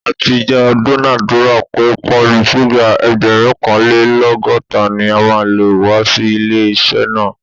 A ti jọ dúnadùrà pé pálí súgà ẹgbẹ̀rúnkanlẹ́lọ́gọ́ta ni màá kó wá sí ilé-iṣẹ́ náà